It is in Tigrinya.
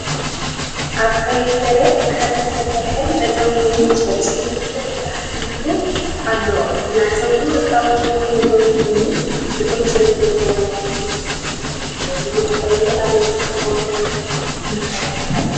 ኣብ ቀይሕ መሬት ብሓጺን ዝተሰርሐ መዕጸዊ ኮይኑ ሰለስተ መፍትሕ ተተሓሒዙሉ ኣሎ። እቲ መዕጸዊ ወርቃዊ ሕብሪ ዘለዎ ኮይኑ ልዑል ጽሬት ዘለዎ ይመስል። ነዚ መዕጸዊ ኣበይ ክትጥቀመሉ ምመኸርካ?